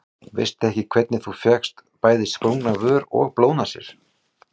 Veistu ekki hvernig þú fékkst bæði sprungna vör og blóðnasir.